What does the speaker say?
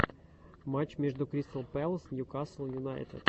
матч между кристал пэлас ньюкасл юнайтед